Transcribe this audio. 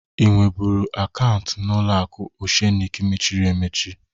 Ị nwebụru akaunti n'ụlọaku Oshenik mechiri emechi?